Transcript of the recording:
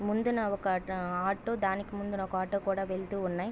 ముందున ఒక ఆటో దానికి ముందున ఒక ఆటో కూడా వెళ్తూ ఉన్నాయి.